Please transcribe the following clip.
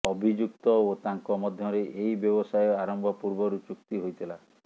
ଅଭିଯୁକ୍ତ ଓ ତାଙ୍କ ମଧ୍ୟରେ ଏହି ବ୍ୟବସାୟ ଆରମ୍ଭ ପୂର୍ବରୁ ଚୁକ୍ତି ହୋଇଥିଲା